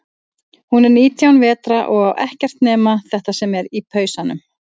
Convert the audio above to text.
Hún er nítján vetra og á ekkert nema þetta sem er í pausanum.